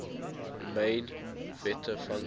riemann zeta function